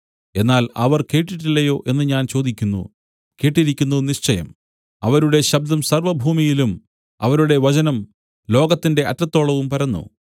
എന്നാൽ അവർ കേട്ടില്ലയോ എന്നു ഞാൻ ചോദിക്കുന്നു കേട്ടിരിക്കുന്നു നിശ്ചയം അവരുടെ ശബ്ദം സർവ്വഭൂമിയിലും അവരുടെ വചനം ലോകത്തിന്റെ അറ്റത്തോളവും പരന്നു